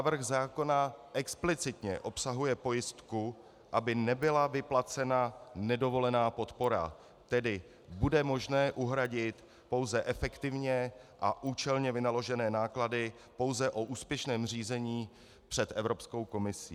Návrh zákona explicitně obsahuje pojistku, aby nebyla vyplacena nedovolená podpora, tedy bude možné uhradit pouze efektivně a účelně vynaložené náklady pouze o úspěšném řízení před Evropskou komisí.